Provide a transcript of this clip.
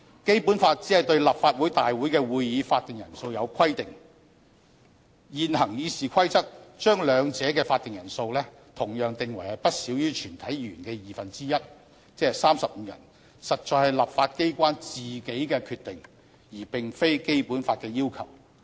《基本法》只是對立法會大會會議的法定人數有規定，現行《議事規則》將兩者的法定人數同樣訂為不少於全體議員的二分之一，實在是立法機關自己的決定，而並非《基本法》的要求。